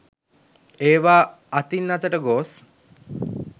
ඒවා අතින් අතට ගොස්